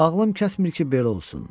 Ağlım kəsmir ki, belə olsun.